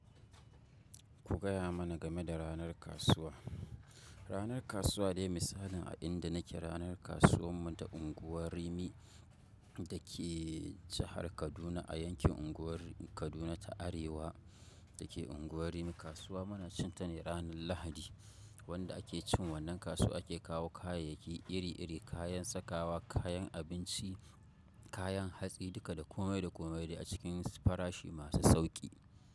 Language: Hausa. Ku gaya mana game da ranar kasuwa. Ranar kasuwa dai misalin a inda nake ranar kasuwar mu ta unguwar Rimi da ke jahar Kaduna a yankin unguwar Kaduna ta Arewa da ke unguwar Rimi. Kasuwa muna cin ta ne ranar Lahadi. Wanda ake cin wannan kasuwa ake kawo kayayyaki iri iri, kayan sakawa, kayan abinci, kayan hatsi duka da komai da komai dai a cikin farashi masu sauƙi.